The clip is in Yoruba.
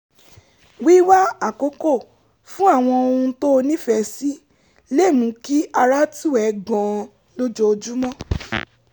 wíwá àkókò fún àwọn ohun tó o nífẹ̀ẹ́ sí lè mú kí ara tù ẹ́ gan-an lójoojúmọ́